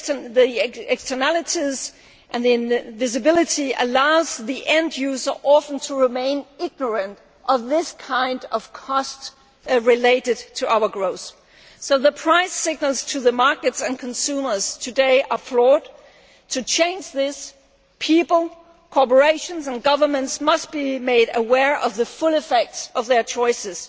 Their externality and invisibility allows the end user often to remain ignorant of this kind of cost related to our growth, so the price signals to the markets and consumers today are flawed. To change this, people, corporations and governments must be made aware of the full effects of their choices.